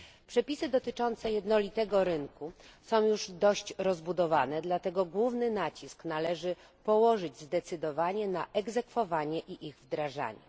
Przepisy dotyczące jednolitego rynku są już dość rozbudowane, dlatego główny nacisk należy położyć zdecydowanie na ich egzekwowanie i wdrażanie.